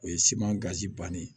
O ye siman gazi banni ye